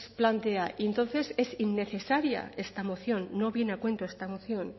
plantea y entonces es innecesaria esta moción no viene a cuento esta moción